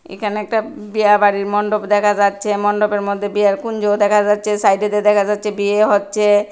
এখানে একটা বিয়া বাড়ির মণ্ডপ দেখা যাচ্ছে মণ্ডপের মধ্যে বিয়ার কুঞ্জও দেখা যাচ্ছে সাইডেতে দেখা যাচ্ছে বিয়ে হচ্ছে।